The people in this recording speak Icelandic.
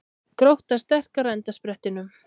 Grótta sterkari á endasprettinum